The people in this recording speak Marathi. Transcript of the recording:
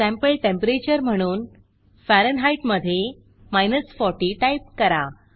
सँपल टेंपरेचर म्हणून फॅरनहीट मधे 40 टाईप करा